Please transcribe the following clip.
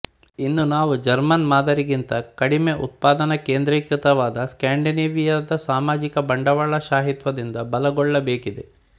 ಇನ್ನು ನಾವು ಜರ್ಮನ್ ಮಾದರಿಗಿಂತ ಕಡಿಮೆ ಉತ್ಪಾದನಾ ಕೇದ್ರೀಕೃತವಾದ ಸ್ಕಾಂಡಿನೇವಿಯಾದ ಸಾಮಾಜಿಕ ಬಂಡವಾಳಶಾಹಿತ್ವದಿಂದ ಬಲಗೊಳ್ಳಬೇಕಿದೆ